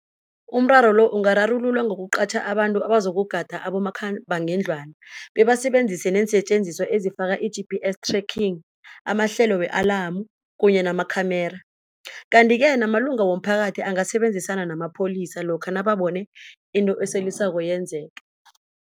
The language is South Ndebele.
Umraro lo ungararululwa ngokuqatjha abantu abazokugada abomakhambangendlwana bebasebenzise neensetjenziswa ezifana nama-G_P_S tracking, amahlelo we-alamu kunye nama khamera. Kanti-ke namalunga womphakathi angasebenzisana namapholisa lokha nababona into esolisako yenzeke.